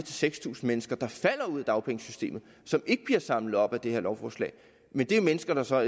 seks tusind mennesker der falder ud af dagpengesystemet og som ikke bliver samlet op af det her lovforslag men det er mennesker der så